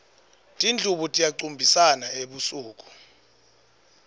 tindlubu tiyacumbisana ebusuku